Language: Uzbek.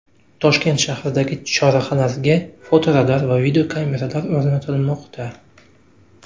Toshkent shahridagi chorrahalarga fotoradar va videokameralar o‘rnatilmoqda.